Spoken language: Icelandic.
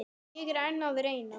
Ég er enn að reyna.